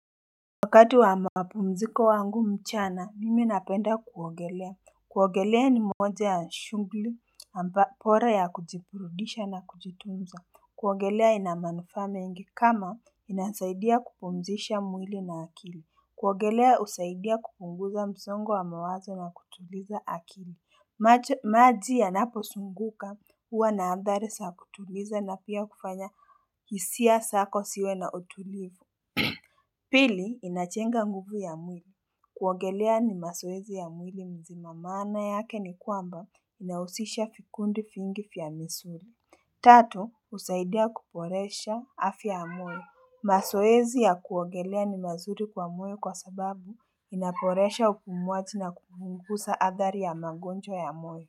Wakati wa mapumziko wangu mchana mimi napenda kuogelea kuogelea ni moja ya shughuli amba bora ya kujiburudisha na kujitunza kuogelea ina manufaa mengi kama inanisaidia kupumzisha mwili na akili kuogelea husaidia kupunguza msongo wa mawazo na kutuliza akili maji yanapo zunguka huwa na athari za kutuliza na pia kufanya hisia zako ziwe na utulivu Pili inajenga nguvu ya mwili kuogelea ni mazoezi ya mwili mzima maana yake ni kwamba inahusisha vikundi vingi vya misuli Tatu husaidia kuboresha afya ya mwili mazoezi ya kuogelea ni mazuri kwa mwili kwa sababu inaboresha upumuaji na kupunguza athari ya magonjwa ya mwili.